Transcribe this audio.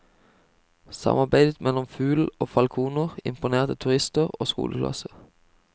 Samarbeidet mellom fugl og falkoner imponerer turister og skoleklasser.